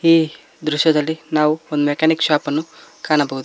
ಈ ದೃಶ್ಯದಲ್ಲಿ ನಾವು ಒಂದು ಮೆಕ್ಯಾನಿಕ್ ಶಾಪ್ ಅನ್ನು ಕಾಣಬಹುದು.